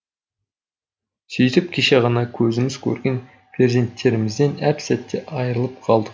сөйтіп кеше ғана көзіміз көрген перзенттерімізден әп сәтте айырылып қалдық